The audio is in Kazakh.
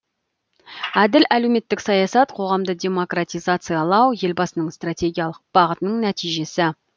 әділ әлеуметтік саясат қоғамды демократизациялау елбасының стратегиялық бағытының нәтижесі